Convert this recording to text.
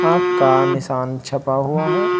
आंख का निशान छपा हुआ है।